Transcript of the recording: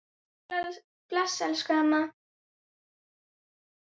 Bless elsku amma.